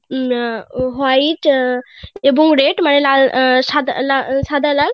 উম um white um এবং red মানে সাদা লাল